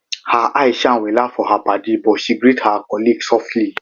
her eye shine wella for her paddy but she greet her colleague softly